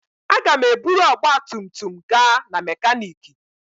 Aga m eburu ọgba tum tum gaa na mekaniki.